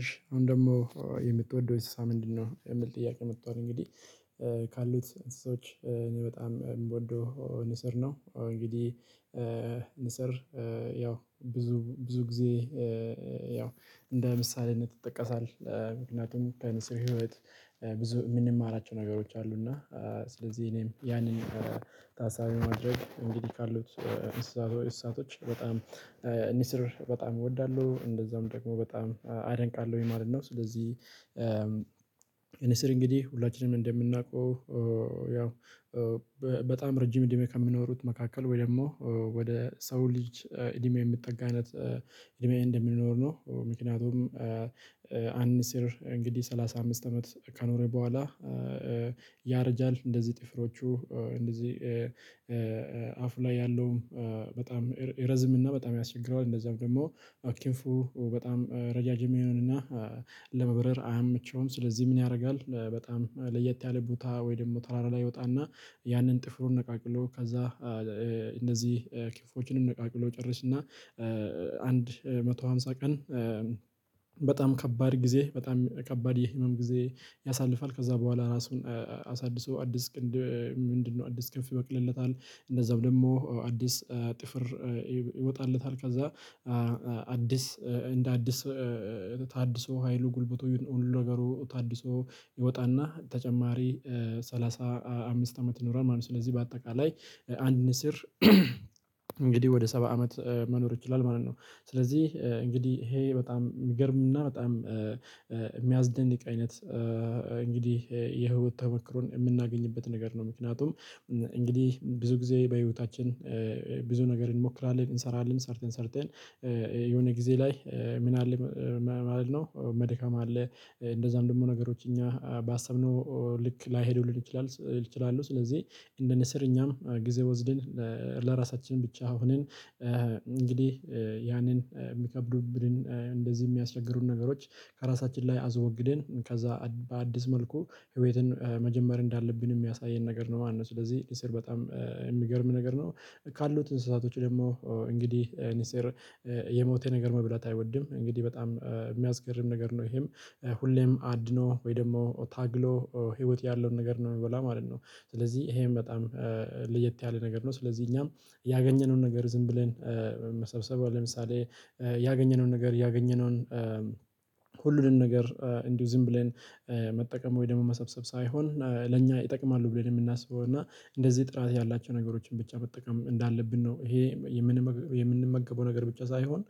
እሺ አሁን ደግሞ "የምትወደው እንስሳ ምንድነው?" የሚል ጥያቄ መጥቷል እንግዲህ፤ ካሉት እንስሶች እኔ በጣም የምወደው ንስር ነው እንግዲህ ንስር ያው ብዙ ብዙ ጊዜ ያው እንደ ምሳሌነት ይጠቀሳል። ምክንያቱም ከንስር ህይወት ብዙ የምንማራቸው ነገሮች አሉ እና ስለዚህ እኔም ያንን ታሳቢ በማድረግ እንግዲህ ካሉት እንስሳቶች በጣም ንስር በጣም እወዳለሁ እንደዛውም ደግሞ በጣም አደንቃለሁኝ ማለት ነው። ስለዚህ ንስር እንግዲህ ሁላችንም እንደምናውቀው ያው በጣም ረጅም እድሜ ከሚኖሩት መካከል ወይ ደግሞ ወደ ሰው ልጅ እድሜ የሚጠጋ አይነት እድሜ እንደሚኖር ነው ምክንያቱም አንድ ንስር እንግዲህ ሰላሳ አምስት አመት ከኖረ በኋላ ያረጃል እንደዚህ ጥፍሮቹ እንደዚህ አፉ ላይ ያለውም በጣም ይረዝምና በጣም ያስቸግረዋል እንደዛም ደግሞ ኪንፉ በጣም ረዣዥም ይሆንና ለመብረር አያመቸውም ስለዚህ ምን ያደርጋል በጣም ለየት ያለ ቦታ ወይ ደግሞ ተራራ ላይ ይወጣና ያንን ጥፍሩን ነቃቅሎ ከዛ እነዚህ ክንፎቹንም ነቃቅሎ ይጨርስና እና አንድ መቶ ሃምሳ ቀን በጣም ከባድ ጊዜ በጣም ከባድ የህመም ጊዜ ያሳልፋል ከዛ በኋላ ራሱን አሳድሶ አዲስ ምንድነው አዲስ ክንፍ ይበቅልለታል እንደዛም ደግሞ አዲስ ጥፍር ይወጣለታል ከዛ አዲስ እንደ አዲስ ታድሶ ሀይሉ ጉልብቱ ሁሉ ነገሩ ታድሶ ይወጣና ተጨማሪ ሰላሳ አምስት አመት ይኖራል ማለት ነው። ስለዚህ በአጠቃላይ አንድ ንስር ወደ ሰባ አመት መኖር ይችላል ማለት ነው። ስለዚህ እንግዲህ ይሄ በጣም የሚገርም እና በጣም የሚያስደንቅ አይነት እንግዲህ የህይወት ተሞክሮን የምናገኝበት ነገር ነው። ምክንያቱም እንግዲህ ብዙ ጊዜ በህይወታችን ብዙ ነገር እንሞክራለን እንሰራለን ሰርተን ሰርተን የሆነ ጊዜ ላይ ምን አለ ማለት ነው መድከም አለ። እንደዛም ደግሞ ነገሮች እኛ ባሰብነው ልክ ላይሄዱልን ይችላል ይችላሉ ስለዚህ እንደ ንስር እኛም ጊዜ ወስደን ለራሳችን ብቻ ሆነን እንግዲህ ያንን የሚከብዱብንን እንደዚህ የሚያስቸግሩን ነገሮች ከራሳችን ላይ አስወግደን ከዛ በአዲስ መልኩ ህይወትን መጀመር እንዳለብን የሚያሳየን ነገር ነው ማለት ነው። ስለዚህ ንስር በጣም የሚገርም ነገር ነው። ካሉት እንስሳቶች ደግሞ እንግዲህ ንስር የሞተ ነገር መብላት አይወድም። እንግዲህ በጣም የሚያስገርም ነገር ነው ይሄም ሁሌም አድኖ ወይ ደግሞ ታግሎ ህይወት ያለውን ነገር ነው የሚበላው ማለት ነው። ስለዚህ ይሄም በጣም ለየት ያለ ነገር ነው። ስለዚህ እኛም ያገኘነውን ነገር ዝም ብለን መሰብሰብ ለምሳሌ ያገኘነውን ነገር ያገኘነውን ሁሉንም ነገር እንዲሁ ዝም ብለን መጠቀም ወይ ደግሞ መሰብሰብ ሳይሆን ለእኛ ይጠቅማሉ ብለን የምናስበው እና እንደዚህ ጥራት ያላቸው ነገሮችን ብቻ መጠቀም እንዳለብን ነው ይሄ የምንመገበው ነገር ብቻ ሳይሆን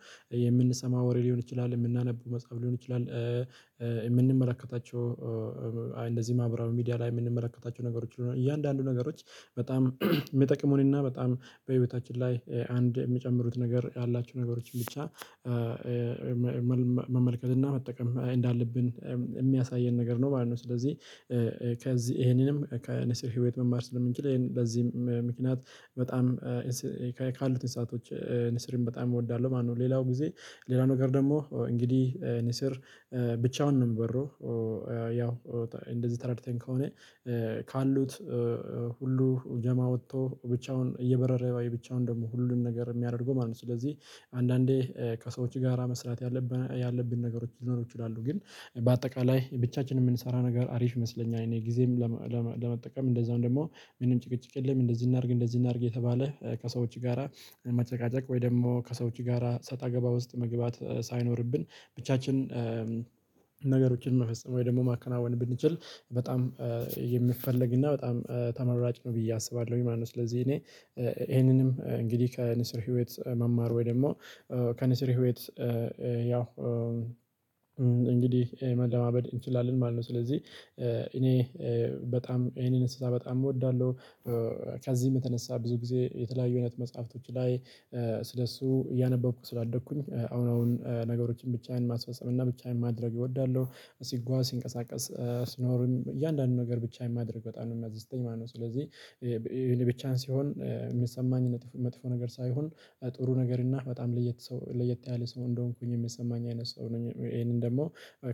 የምንሰማው ወሬ ሊሆን ይችላል የምናነበው መጽሐፍ ሊሆን ይችላል የምንመለከታቸው እንደዚህ ማብራሪያ ሚዲያ ላይ የምንመለከታቸው ነገሮች እያንዳንዱ ነገሮች በጣም የሚጠቅመን እና በጣም በህይወታችን ላይ አንድ የሚጨምሩት ነገር ያላቸው ነገሮችን ብቻ መመልከት እና መጠቀም እንዳለብን የሚያሳየን ነገር ነው ማለት ነው። ስለዚህ ከዚህ ይሄንንም ከንስር ህይወት መማር ስለምንችል በዚህም ምክንያት በጣም ካሉት እንስሳቶች ንስርን በጣም እወዳለሁ ማለት ነው። ሌላው ጊዜ ሌላ ነገር ደግሞ እንግዲህ ንስር ብቻውን ነው የሚበረው ያው እንደዚህ ተረድተን ከሆነ ካሉት ሁሉ ጀማ ወጥቶ ብቻውን እየበረረ ወይ ብቻውን ደግሞ ሁሉን ነገር የሚያደርገው ማለት ነው። ስለዚህ አንዳንዴ ከሰዎች ጋራ መስራት ያለብን ነገሮች ሊኖሩ ይችላሉ፤ ግን በአጠቃላይ ብቻችንን የምንሰራ ነገር አሪፍ ይመስለኛል እኔ ጊዜም ለማ ለማ ለመጠቀም እንደዛውም ደግሞ ምንም ጭቅጭቅ የለም እንደዚህ እናድርግ እንደዚህ እናድርግ እየተባለ ከሰዎች ጋራ መጨቃጨቅ ወይ ደግሞ ከሰዎች ጋራ ሰጣ ገባ ውስጥ መግባት ሳይኖርብን ብቻችን ነገሮችን መፈጸም ወይ ደግሞ ማከናወን ብንችል በጣም የሚፈልግ እና በጣም ተመራጭ ነው ብዬ አስባለሁኝ ማለት ነው ስለዚህ እኔ ይሄንንም እንግዲህ ከንስር ህይወት መማር ወይ ደግሞ ከንስሪ ህይወት ያው እንግዲህ መለማመድ እንችላለን ማለት ነው ስለዚህ እኔ በጣም ይሄንን እንስሳ በጣም እወዳለሁ። ከዚህም የተነሳ ብዙ ጊዜ የተለያዩ አይነት መጽሐፍቶች ላይ ስለእሱ እያነበብኩ ስላደግኩኝ አሁን አሁን ነገሮችን ብቻዬን ማስፈጸም እና ብቻዬን ማድረግ እወዳለሁ። ሲጓዝ ሲንቀሳቀስ ስኖርም እያንዳንዱን ነገር ብቻዬን ማድረግ በጣም ነው የሚያስደስተኝ ማለት ነው ስለዚህ ይሄን ብቻን ሲሆን የሚሰማኝ መጥፎ ነገር ሳይሆን ጥሩ ነገር እና በጣም ለየት ሰው ለየት ያለ ሰው እንደሆንኩኝ የሚሰማኝ አይነት ሰው ነኝ ይሄንን ደግሞ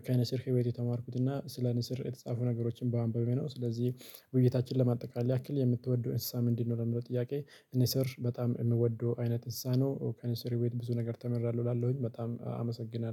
ከንስር ህይወት የተማርኩት እና ስለ ንስር የተጻፉ ነገሮችን በአንባቤ ነው ስለዚህ ውይይታችንን ለማጠቃለል ያክል "የምትወደው እንስሳ ምንድን ነው? ለሚለው ጥያቄ ንስር በጣም የምወደው አይነት እንስሳ ነው። ከንስር ህይወትም ብዙ ነገር ተምሪያለሁ እላለሁኝ። በጣም አመሰግናለሁ